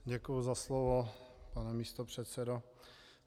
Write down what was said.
Děkuji za slovo, pane místopředsedo.